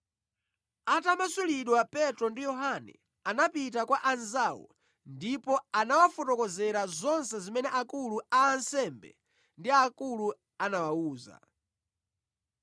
Atamasulidwa Petro ndi Yohane anapita kwa anzawo ndipo anawafotokozera zonse zimene akulu a ansembe ndi akulu anawawuza.